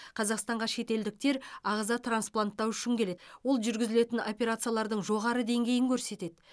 қазақстанға шетелдіктер ағза транспланттау үшін келеді ол жүргізілетін операциялардың жоғары деңгейін көрсетеді